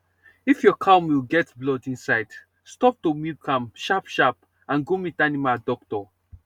if your cow milk get blood inside stop to milk am sharp sharp and go meet animal doctor